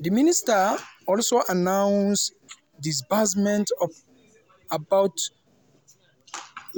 di minister also announce disbursement of about